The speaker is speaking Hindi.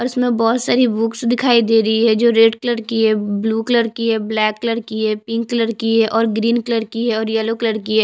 और इसमें बहोत सारी बुक्स दिखाई दे रही है जो रेड कलर की है ब्लू कलर की है ब्लैक कलर की है पिंक कलर की है और ग्रीन कलर की है और येल्लो कलर की है।